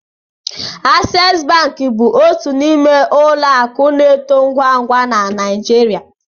Access bank bụ otu n'ime ụlọ akụ na-eto ngwa ngwa na Naịjirịa